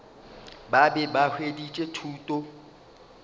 ba be ba hweditše thuto